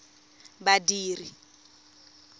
badiri